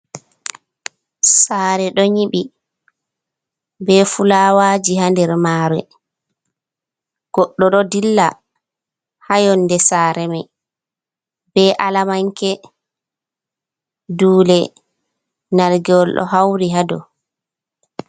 Sare ɗo nyiɓi be fuulawaji ha nder maree. Godɗo ɗo dilla ha yonde Sare mai be Alamanke dule nargewol ɗo hauri ha dou.